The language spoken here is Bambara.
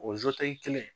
O kelen